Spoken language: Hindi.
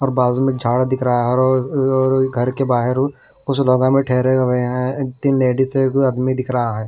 और बाजू में झाड़ दिख रहा है और घर के बाहर उस में ठहरे हुए हैं तीन लेडिज हैं दो आदमी दिख रहा है।